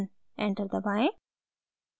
enter दबाएं